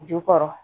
Jukɔrɔ